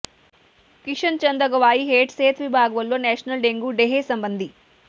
ਕਿਸ਼ਨ ਚੰਦ ਅਗਵਾਈ ਹੇਠ ਸਿਹਤ ਵਿਭਾਗ ਵੱਲੋਂ ਨੈਸ਼ਨਲ ਡੇਂਗੂ ਡੇਅ ਸਬੰਧੀ